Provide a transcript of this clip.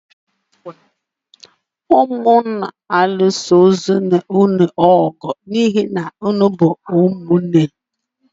Ụnụ alụsozịna onwé ụnụ ọgụ, ụnụ bụ ụmụ nné!